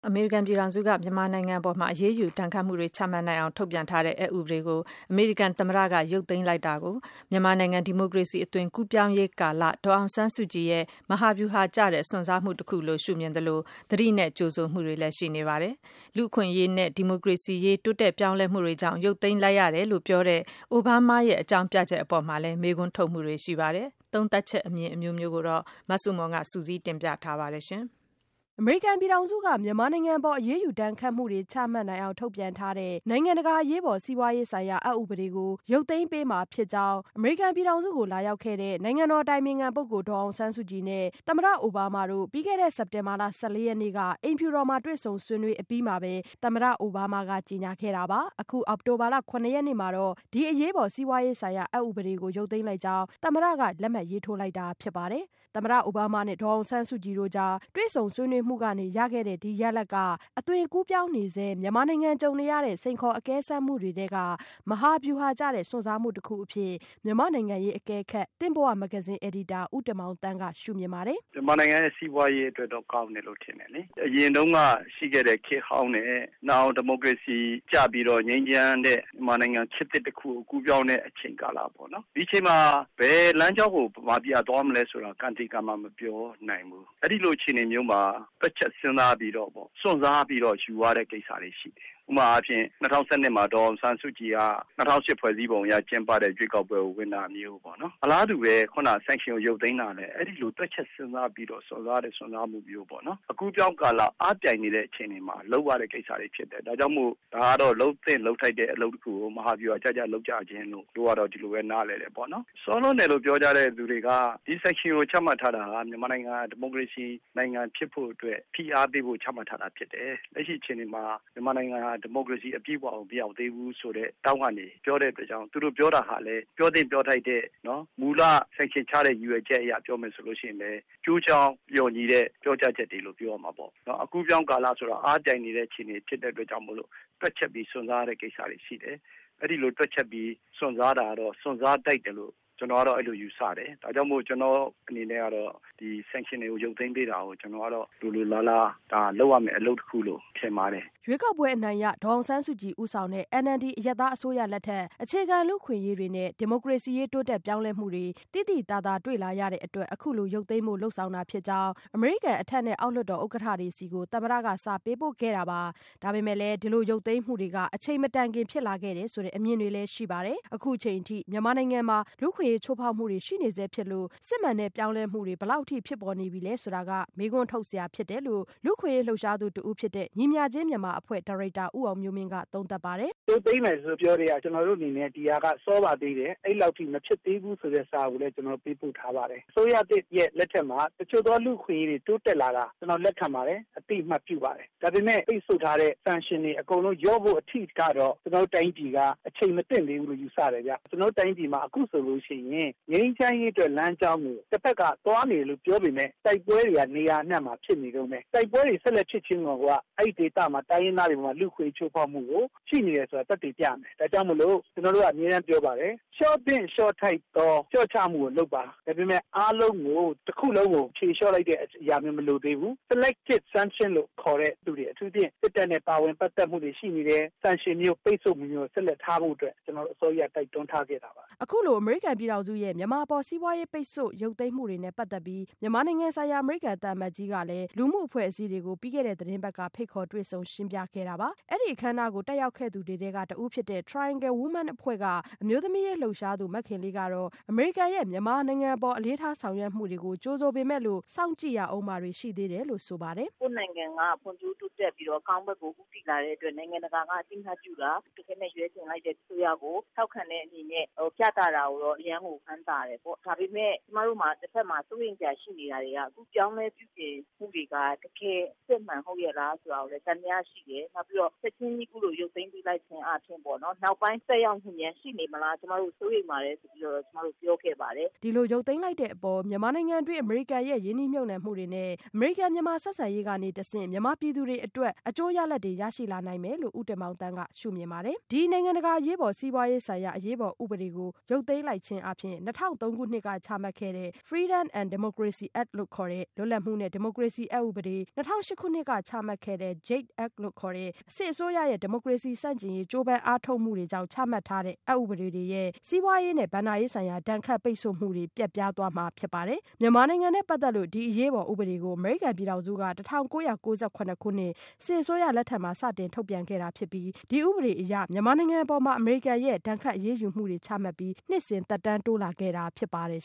အမေရိကန်ပြည်ထောင်စုက မြန်မာနိုင်ငံအပေါ် အရေးယူဒဏ်ခတ်မှုတွေ ချမှတ်နိုင်ေ အာင် ထုတ်ပြန်ထားတဲ့ အက်ဥပဒေကိုအမေရိကန် သမ္မတက ရုပ်သိမ်းလိုက်တာ ကို မြန်မာနိုင်ငံ ဒီမိုကရေစီ အသွင်အကူးအပြောင်းကာလ ဒေါ်အောင်ဆန်းစုကြည် ရဲ့ မဟာဗျူဟာကျတဲ့ စွန့်စားမှု တခုလိုရှုမြင်သလို သတိနဲ့ကြိုဆို မှုတွေလည်း ရှိနေပါတယ်။ လူ့အခွင့်အရေးနဲ့ ဒီမိုကရေစီရေး တိုးတက်ပြောင်းလဲမှုတွေကြောင့် ရုပ်သိမ်း လိုက်ရတယ်လို့ပြောတဲ့ အိုဘားမားရဲ့ အကြောင်းပြချက် အပေါ်လည်း မေး ခွန်းထုတ်နေကြပါတယ်။ သုံးသပ်ချက် အမြင်အမျိုးမျိုးကို မဆုမွန် စုစည်းတင်ပြ ထားပါတယ်။ အမေရိကန်ပြည်ထောင်စုက မြန်မာနိုင်ငံအပေါ် အရေးယူဒဏ်ခတ်မှုတွေ ချမှတ် နိူင်အောင် ထုတ်ပြန်ထားတဲ့ နိုင်ငံတကာ အရေးပေါ် စီးပွားရေး ဆိုင်ရာ အက် ဥပဒေကို ရုတ်သိမ်းပေး မှာ ဖြစ်ကြောင်းအမေရိကန်ပြည်ထောင်စုကို လာရောက် ခဲ့တဲ့ နိုင်ငံတော်အတိုင်ပင်ခံပုဂ္ဂိုလ် ဒေါ်အောင်ဆန်းစုကြည်နဲ့ သမ္မတအိုဘားမား တို့ ပြီးခဲ့တဲ့ စက်တင်ဘာလ ၁၄ ရက်နေ့က အိမ်ဖြူတော်မှာ တွေ့ဆုံဆွေးနွေး အပြီးမှာပဲ သမ္မတ အိုဘားမားက ကြေညာခဲ့တာပါ။ အောက်တိုဘာလ ၇ရက်နေ့ မှာတော့ ဒီအရေးပေါ် စီးပွားရေးဆိုင်ရာ အက်ဥပဒေကို ရုပ်သိမ်းလိုက်ကြောင်း သမ္မတက လက်မှတ်ရေးထိုးလိုက်တာဖြစ်ပါတယ်။ သမ္မတအိုဘားမားနဲ့ ဒေါ်အောင်ဆန်းစုကြည်တို့ကြား တွေ့ဆုံဆွေးနွေးမှုကနေ ရ ခဲ့တဲ့ ဒီရလဒ်က အသွင်ကူးပြောင်းနေဆဲ မြန်မာနိုင်ငံ ကြုံနေရတဲ့ စိန်ခေါ်အကဲစမ်း မှုတွေထဲက မဟာဗျူဟာကျတဲ့ စွန့်စားမှုတခုအဖြစ် မြန်မာ့နိုင်ငံရေးအကဲခတ် သင့်ဘဝမဂ္ဂဇင်း အယ်ဒီတာ ဦးတင်မောင်သန်းက ရှုမြင်ပါတယ်။ “ မြန်မာနိူင်ငံရဲ့ စီးပွားရေးအတွက်တော့ ကောင်းတယ်လို့ ထင်တယ်လေ။ အရင် တုန်းက ရှိခဲ့တဲ့ ခေတ်ဟောင်းနဲ့ နောင် ဒီမိုကရေစီကျ ပြီးတော့ ငြိမ်းချမ်းတဲ့ မြန်မာနိူ င်ငံ ခေတ်သစ်တခုကို ကူးပြောင်းတဲ့ အချိန်ကာလပေါ့ နော့.. ဒီအချိန်မှာ ဘယ် လမ်းကြောင်းကို မြန်မာပြည်က သွားမလဲဆိုတာ ကံသေကံမ မပြောနိူင်ဘူး၊ အဲဒီလို အခြေအနေမျိုးမှာ တွက်ချက် စဉ်းစားပြီးတော့ပေါ့ စွန့်စားပြီးတော့ ယူရတဲ့ကိစ္စတွေ ရှိတယ်။ ဥပမာအားဖြင့် ၂၀၁၂ မှာ ဒေါ်အောင်ဆန်းစုကြည်က ၂၀၀၈ ဖွဲ့စည်းပုံအရ ကျင်းပတဲ့ ရွေးကောက်ပွဲကို ဝင်ပြိုင်တာမျိုးပေါ့နော်။ အလားတူပဲ sanction ကို ရုပ်သိမ်းတာလဲ အဲဒီလိုပဲ တွက်ချက်စဉ်းစားပြီးတော့ စွန့်စားတဲ့ စွန်းစားမှုမျိုးပေါ့။ အကူးအပြောင်းကာလ အားပြိုင်နေတဲ့ အခြေအနေမှာ လုပ်ရတဲ့ကိစ္စတွေ ဖြစ်တယ်။ ဒါကြောင့်မို့ ဒါကတော့ လုပ်သင့်လုပ်ထိုက်တဲ့ အလုပ်တခုကို မဟာဗျူဟာ ကျကျ လုပ်ကြခြင်းလို့ပဲ - ဒီလိုပဲ နားလည်တယ်။ စောလွန်းတယ်လို့ ပြောကြတဲ့သူတွေက ဒီ sanction ကိုချမှတ် ထားတာဟာ မြန်မာနိူင်ငံ ဒီမိုကရေစီ နိူင်ငံဖြစ်ဖို့အတွက် ဖိအားပေးဖို့ ချမှတ်ထားတာ ဖြစ်တယ်။ လက်ရှိအခြေအနေမှာ မြန်မာနိူင်ငံဟာ ဒီမိုကရေစီ အပြည့်အဝကို မရောက်သေးဘူးဆိုတဲ့ ထောင့်ကနေ ပြောတဲ့ အတွက်ကြောင့် သူတို့ပြောတာဟာလဲ ပြောသင့်ပြောထိုက်တဲ့ မူလ sanction ချတဲ့ ရည်ရွယ် ချက်အရ ပြောမယ်ဆိုလို့ ရှိရင်လည်း ကျိုးကြောင်း လျှော်ညီတဲ့ ပြောကြား ချက်တွေလို့ ပြောရမှာပဲ။ ဒါကြောင့်မို့ ကျနော်ကတော့ ဒီလို sanction ရုပ်သိမ်းပေး တာကို လိုလိုလားလား ဒါလုပ်ရမယ့် အလုပ်တခုလို့ မြင်ပါတယ်” ရွေးကောက်ပွဲအနိုင်ရ ဒေါ်အောင်ဆန်းစုကြည်ဦးဆောင်တဲ့ NLD အရပ်သား အစိုးရလက်ထက် အခြေခံလူ့အခွင့်အရေးတွေနဲ့ ဒီမိုကရေစီရေး တိုးတက်ပြောင်း လဲမှုတွေ သိသိသာသာ တွေ့လာရတဲ့အတွက် အခုလိုရုပ်သိမ်းဖို့ လုပ်ဆောင်တာ ဖြစ်ကြောင်း အမေရိကန် အထက်နဲ့ အောက် လွှတ်တော် ဥက္ကဋ္ဌတွေဆီကို သမ္မတ က စာပေးပို့ခဲ့တာပါ။ ဒါပေမဲ့ ဒီလိုရုပ်သိမ်းမှုတွေက အချိန်မတိုင်ခင် ဖြစ်လာခဲ့တယ်ဆိုတဲ့ အမြင်တွေလည်း ရှိပါတယ်။ အခုအချိန်အထိ မြန်မာနိုင်ငံမှာ လူ့အခွင့်အရေး ချိုးဖောက်မှုတွေရှိနေဆဲဖြစ်လို့ စစ်မှန်တဲ့ပြောင်းလဲမှုတွေ ဘယ်လောက် အထိဖြစ်ပေါ် နေပြီလဲ ဆိုတာ မေးခွန်းထုတ် စရာဖြစ်တယ်လို့ လူ့အခွင့်အရေး လှုပ်ရှားသူတဦးဖြစ်တဲ့ ညီမျှခြင်းမြန်မာအဖွဲ့ ဒါရိုက်တာ ဦးအောင်မျိုးမင်းက သုံးသပ်ပါတယ်။ “ရုပ်သိမ်းမယ်လို့ ပြောကတည်းက ဒီဟာက စောပါသေးတယ်လို့ အဲလောက်ထိ မဖြစ်သင့်သေးဘူး ဆိုတဲ့စာကို ကျနော်တို့ ပေးပို့ထားပါတယ်၊ အစိုးရသစ် လက်ထက်မှာ တချို့သော လူ့အခွင့်အရေးတွေ တိုးတက်လာတာ ကျနော် လက်ခံပါတယ်၊ အသိအမှတ် ပြုပါတယ်။ ဒါပေမယ့် ပိတ်ဆို့ထားတဲ့ sanction တွေ အကုန်လုံး ရုပ်သိမ်းဖို့ အထိကတော့ ကျနော်တို့တိုင်းပြည်က အချိန်ခါ မသင့်သေး ဘူးလို့ ယူဆတယ်ဗျ။ ကျနော်တို့တိုင်းပြည်မှာ အခုဆိုလို့ရှိရင် ငြိမ်းချမ်းရေးအတွက် လမ်းကြောင်းကို တဖက်က သွားနေတယ်လို့ ပြောပေမယ့် တိုက်ပွဲတွေက နေရာ အနှံ့မှာဖြစ်နေတုန်းပဲ။ တိုက်ပွဲတွေ ဆက်ဖြစ်နေတာကိုယ်က အဲဒီဒေသက တိုင်းရင်း သားတွေအပေါ် လူ့အခွင့်အရေး ချိုးဖေါက်မှု ရှိနေတယ် ဆိုတာ သက်သေပြနေ တယ်။ ဒါ့ကြောင့်မို့ ကျနော်တို့က အမြဲပြောပါတယ်။ လျှော့သင့် လျှော့ ထိုက်သော လျှော့ချမှုကိုလုပ်ပါ၊ ဒါပေမယ့် အားလုံးကို တခုလုံးကို ဖြေလျှော့လိုက် တာမျိုးတော့ မလိုသေးဘူး။ Selected sanction လို့ခေါ်တဲ့သူတွေ အထူူးသဖြင့် စစ်တပ်နဲ့ ပါဝင် ပတ်သက်မှုတွေ ရှိနေတယ်။ sanction မျိုး ပိတ်ဆို့မှုမျိုးကို ထားဖို့အတွက် ကျနော်တို့ အစောကြီးကတည်းက တိုက်တွန်းထားခဲ့ တာပါ” အခုလို အမေရိကန်ပြည်ထောင်စုရဲ့ မြန်မာအပေါ် စီးပွားရေးပိတ်ဆို့မှု ရုပ်သိမ်း မှုတွေနဲ့ပတ်သက်ပြီး မြန်မာနိုင်ငံဆိုင်ရာ အမေရိကန်သံအမတ် ကြီးက လူမှု အဖွဲ့အစည်းတွေကို ဖိတ်ခေါ်တွေ့ဆုံရှင်းပြခဲ့တာပါ။ အဲ့ဒီအခမ်းအနားကို တက်ရောက် ခဲ့သူတွေထဲက တဦးဖြစ်တဲ့ Triangle Women အဖွဲ့က အမျိုးသမီးရေး လှုပ်ရှားသူ မခင်လေးကတော့ အမေရိကန်ရဲ့ မြန်မာနိုင်ငံအပေါ် အလေးထားေ ဆာင်ရွက်ချက်တွေကို ကြိုဆိုပေမယ်လို့ စောင့်ကြည့်ရဦးမှာတွေ ရှိသေးတယ်လို့ ဆိုပါတယ်။ “ ကိုယ့်နိုင်ငံက ဖွံ့ဖြိုးတိုးတက်ပြီးတော့ အကောင်းဘက်ကို ဦးတည်လာတဲ့ အတွက် နိုင်ငံတကာက အသိအမှတ်ပြုတာ တခဲနက် ရွေးချယ်လိုက်တဲ့ အစိုးရ ကို ထောက်ခံတဲ့အနေနဲ့ ပြသတာကိုတော့ အရမ်းကိုဝမ်းသာတယ်။ ဒါပေမဲ့ ကျမတို့မှာ တဘက်မှာ စိုးရိမ်စရာရှိနေတာတွေက အခုပြုပြင်ပြောင်းလဲမှုတွေက တကယ်အစစ် အမှန်ဟုတ်ရဲ့လား ဆိုတာကိုလည်း သံသယရှိတယ်။ နောက် ပြီးတော့ ချက်ချင်းကြီး အခုလို ရုပ်သိမ်းပေးလိုက်ခြင်းအားဖြင့်၊ နောက်ပိုင်း သက်ရောက် မှုများရှိနေမလား ကျမတို့စိုးရိမ်ပါတယ်ဆိုပြီး ပြောခဲ့ပါတယ် ” ဒီလိုရုပ်သိမ်းလိုက်တဲ့အပေါ် မြန်မာနိုင်ငံတွင်း အမေရိကန်ရဲ့ ရင်းနှီးမြှုပ်နှံမှုတွေ နဲ့ အမေရိကန်-မြန်မာဆက်ဆံရေးကနေ တဆင့် မြန်မာပြည် သူတွေအတွက် အကျိုးရလဒ်တွေ ရရှိလာနိုင်မယ်လို့ ဦးတင်မောင်သန်းက ပြောပါတယ်။ ဒီ နိုင်ငံတကာ အရေးပေါ် စီးပွားရေးဆိုင်ရာ အရေးပေါ်ဥပဒေကို ရုတ်သိမ်းလိုက်ခြင်းအားဖြင့် ၂၀၀၃ ခုနှစ်က ချမှတ်ခဲ့တဲ့ Freedom and Democracy Act လို့ခေါ်တဲ့ လွတ်လပ်မှုနဲ့ ဒီမိုကရေစီအက်ဥပဒေ၊ ၂၀၀၈ ခုနှစ်က ချမှတ်ခဲ့တဲ့ JADE Act လို့ခေါ်တဲ့ စစ်အစိုးရရဲ့ ဒီမိုကရေစီ ဆန့်ကျင်ရေး ကြိုးပမ်း အားထုတ်မှု တွေကြောင့် ချမှတ်ထားတဲ့ အက်ဥပဒေတွေအရ စီးပွားရေးနဲ့ ဘဏ္ဍာရေးဆိုင်ရာ ဒဏ်ခတ်ပိတ်ဆို့မှုတွေ ပျက်ပြားသွားမှာဖြစ်ပါတယ်။ မြန်မာနိုင်ငံနဲ့ ပါတ်သက်လို့ ဒီအရေးပေါ် ဥပဒေကို အမေရိကန်ပြည်ထောင်စုက ၁၉၉၇ ခုနှစ် စစ်အစိုးရ လက်ထက်မှာ စတင်ထုတ်ပြန်ပြီး ဒီဥပဒေအရ မြန်မာနိုင်ငံအပေါ် အမေရိကန် ဒဏ်ခတ်အရေးယူမှုတွေ ချမှတ်ပြီး နှစ်စဉ် သက်တမ်းတိုး လာခဲ့တာဖြစ်ပါတယ်